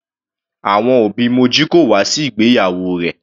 Àwọn òbí Moji kò wá sí ìgbéyàwó rẹ̀.